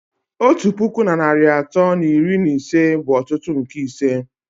Otu puku na narị atọ na iri na ise bụ otutu nke ise